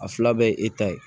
A fila bɛɛ ye e ta ye